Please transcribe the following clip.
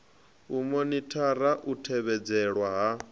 u monithara u tevhedzelwa ha